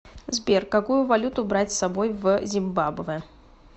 сбер какую валюту брать с собой в зимбабве